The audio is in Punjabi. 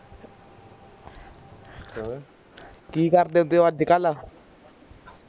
ਕਿ ਕਰਦੇ ਹੁੰਦੇ ਓ ਅੱਜਕਲ